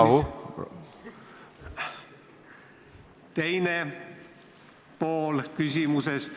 Rahu!